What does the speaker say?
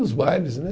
Os bailes, né?